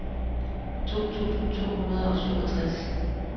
to tusind to hundrede og syvogtres